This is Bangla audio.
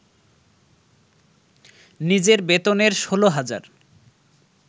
নিজের বেতনের ১৬ হাজার